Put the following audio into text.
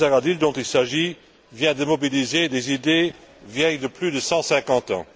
Zahradil, dont il est question, vient de mobiliser des idées vieilles de plus de 150 ans.